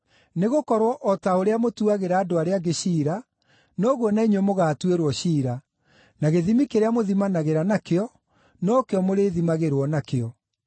Nĩgũkorwo o ta ũrĩa mũtuagĩra andũ arĩa angĩ ciira, noguo na inyuĩ mũgaatuĩrwo ciira, na gĩthimi kĩrĩa mũthimanagĩra nakĩo, no kĩo mũrĩthimagĩrwo nakĩo.